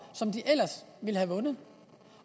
som de ellers ville have vundet